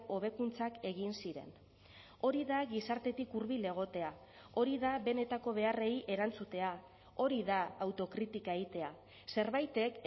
hobekuntzak egin ziren hori da gizartetik hurbil egotea hori da benetako beharrei erantzutea hori da autokritika egitea zerbaitek